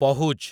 ପହୁଜ୍